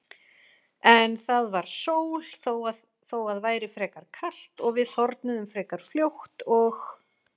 En það var sól þó að væri frekar kalt og við þornuðum frekar fljótt og